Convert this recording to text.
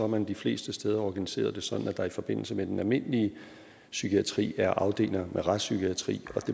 man de fleste steder organiseret det sådan at der i forbindelse med den almindelige psykiatri er afdelinger med retspsykiatri